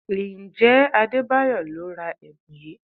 Ǹjẹ́ Adebayo lo ra ẹ̀bùn yìí?